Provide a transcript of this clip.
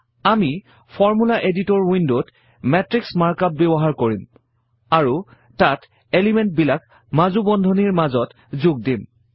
আমি formula editor ৱিণ্ডত মাতৃশ মাৰ্কআপ ব্যৱহাৰ কৰিম আৰু তাত এলিমেণ্ট বিলাক মাজু বন্ধনিৰ মাজত যোগ দিম